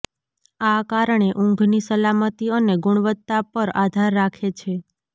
આ કારણે ઊંઘની સલામતી અને ગુણવત્તા પર આધાર રાખે છે